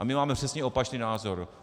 A my máme přesně opačný názor.